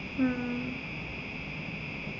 ആ